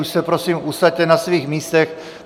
Už se prosím usaďte na svých místech.